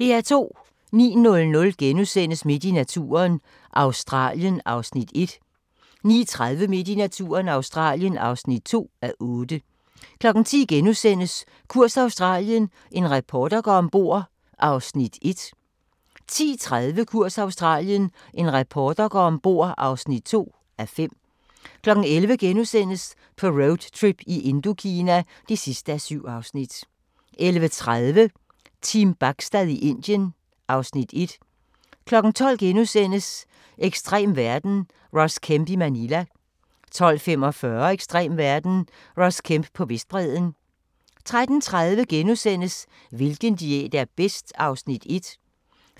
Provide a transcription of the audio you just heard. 09:00: Midt i naturen – Australien (1:8)* 09:30: Midt i naturen – Australien (2:8) 10:00: Kurs Australien – en reporter går ombord (1:5)* 10:30: Kurs Australien – en reporter går ombord (2:5) 11:00: På roadtrip i Indokina (7:7)* 11:30: Team Bachstad i Indien (Afs. 1) 12:00: Ekstrem verden – Ross Kemp i Manila * 12:45: Ekstrem verden – Ross Kemp på Vestbredden 13:30: Hvilken diæt er bedst? (Afs. 1)*